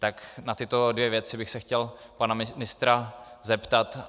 Tak na tyto dvě věci bych se chtěl pana ministra zeptat.